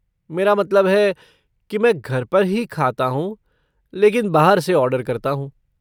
मेरा मतलब है, कि मैं घर पर ही खाता हूँ लेकिन बाहर से ऑर्डर करता हूँ।